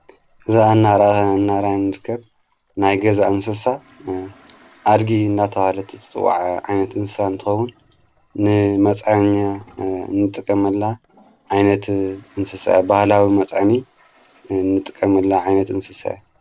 እዛ እናራ እናርኸብይን ንርከብ ናይ ገዛ እንስሳ ኣድጊ እናተበሃለት ትፅዎዕ ዓይነት እንስሳ እንተኸውን ንመፃኛ ንጥቀመላ ዓይነት እንሰሳ ባህላዊ መፃዓኒ ንጥቀመላ ዓይነት እንስሰ አያ።